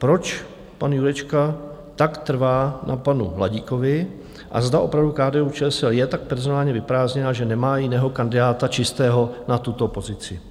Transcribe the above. Proč pan Jurečka tak trvá na panu Hladíkovi a zda opravdu KDU-ČSL je tak personálně vyprázdněná, že nemá jiného kandidáta, čistého, na tuto pozici?